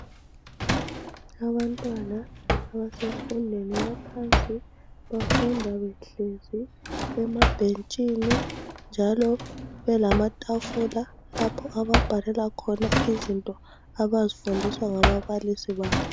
Abantwana abasemfundeni yaphansi bafunda behlezi emabhentshini njalo belamatafula lapho ababhalela khona izinto abazifundiswa ngababalisi babo.